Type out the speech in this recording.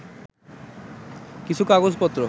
কিছু কাগজপত্র